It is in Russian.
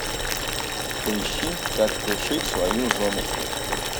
поищи как пришить свою женушку